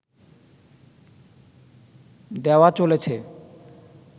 দেওয়া চলেছে